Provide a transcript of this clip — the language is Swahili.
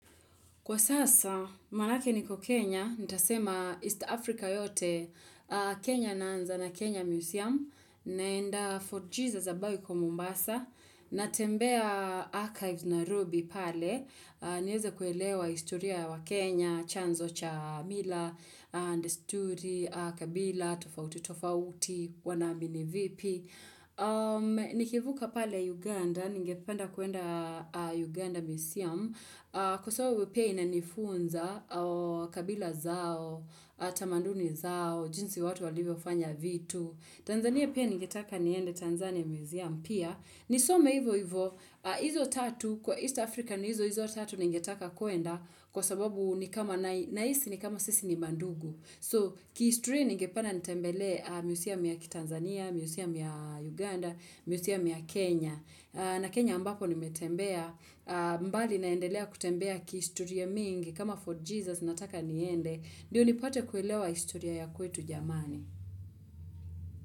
Kwa sasa, maanake niko Kenya, nitasema East Africa yote, Kenya naanza na Kenya Museum, naenda 4G za zabawi kwa Mombasa, natembea archives nairobi pale, niweza kuelewa historia wa waKenya, chanzo cha mila, and story, kabila, tofauti, tofauti, wanaamini vipi. Nikivuka pale Uganda, ningependa kuenda Uganda Museum Kwa sababu pia inanifunza kabila zao, tamaduni zao, jinsi watu walivyofanya vitu Tanzania pia ningetaka niende Tanzania Museum Pia, nisome hivo hivo, izo tatu, kwa East Africa ni hizo izo tatu ningetaka kuenda Kwa sababu ni kama nahisi ni kama sisi ni mandugu So, kihistoria nigependa nitembelee museum ya Tanzania, museum ya Uganda, museum ya Kenya. Na Kenya ambapo nimetembea, mbali naendelea kutembea kihistoria mingi, kama fort Jesus nataka niende, ndio nipate kuelewa historia ya kwetu jamani.